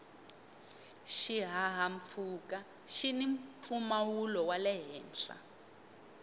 xihahampfhuka xini mpfumawulo wale henhla